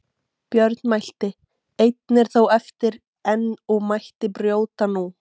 Björn mælti: Einn er þó eftir enn og mætti brjóta nú.